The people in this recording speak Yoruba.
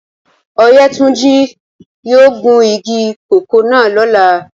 Oyetunji yóò gun igi koko náa lọla.